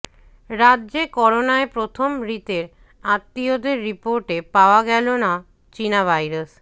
রাজ্যে করোনায় প্রথম মৃতের আত্মীয়দের রিপোর্টে পাওয়া গেল না চিনা ভাইরাস